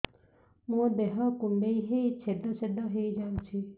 ମୋ ଦେହ କୁଣ୍ଡେଇ ହେଇ ଛେଦ ଛେଦ ହେଇ ଯାଉଛି